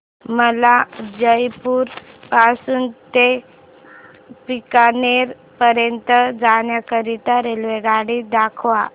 मला जयपुर पासून ते बीकानेर पर्यंत जाण्या करीता रेल्वेगाडी दाखवा